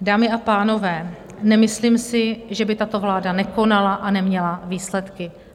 Dámy a pánové, nemyslím si, že by tato vláda nekonala a neměla výsledky.